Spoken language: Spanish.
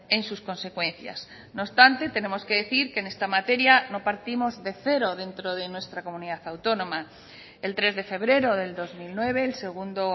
en sus consecuencias no obstante tenemos que decir que en esta materia no partimos de cero dentro de nuestra comunidad autónoma el tres de febrero del dos mil nueve el segundo